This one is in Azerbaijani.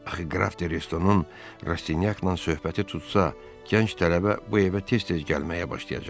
Axı Qraf De Restonun Rastyakla söhbəti tutsa, gənc tələbə bu evə tez-tez gəlməyə başlayacaq.